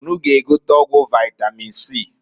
Unu g'egote ọgwụ vaitamin C.